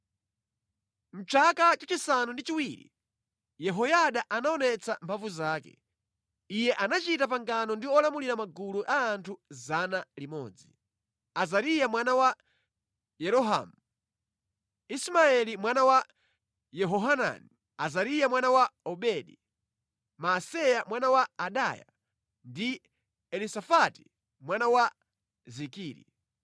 Mʼchaka chachisanu ndi chiwiri Yehoyada anaonetsa mphamvu zake. Iye anachita pangano ndi olamulira magulu a anthu 100: Azariya mwana wa Yerohamu, Ismaeli mwana wa Yehohanani, Azariya mwana wa Obedi, Maaseya mwana wa Adaya ndi Elisafati mwana wa Zikiri.